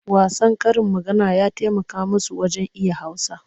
Wasan karin maganar ya taimaka musu wajen iya Hausa.